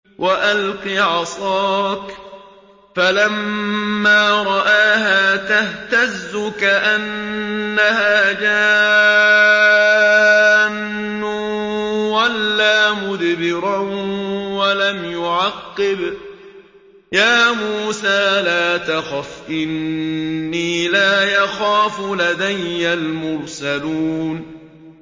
وَأَلْقِ عَصَاكَ ۚ فَلَمَّا رَآهَا تَهْتَزُّ كَأَنَّهَا جَانٌّ وَلَّىٰ مُدْبِرًا وَلَمْ يُعَقِّبْ ۚ يَا مُوسَىٰ لَا تَخَفْ إِنِّي لَا يَخَافُ لَدَيَّ الْمُرْسَلُونَ